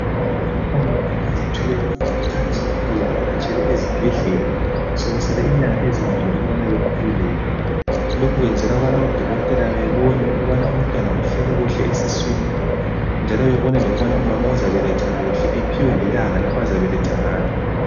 Omama abazithweleyo bakhuthazwa ukubana bavakatshele esibhedlela sokusele inyanga ezimbili ukubana bakhululeke. Lokho kwenzelwa ukubana odokotela babone ukubana umntwana uhleli kuhle esiswini njalo babone lokubana umama uzabeletha kuhle, aphiwe lelanga azabeletha ngalo.